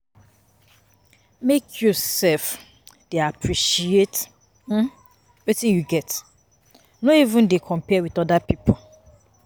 Make you um dey appreciate um wetin you get, no um dey compare wit oda pipo.